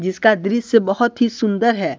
इसका दृश्य बहुत ही सुंदर है।